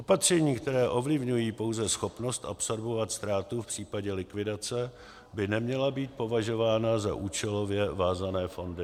Opatření, která ovlivňují pouze schopnost absorbovat ztrátu v případě likvidace, by neměla být považována za účelově vázané fondy.